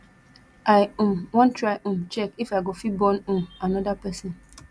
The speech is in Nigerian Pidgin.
i um wan try um check if i go fit born um another person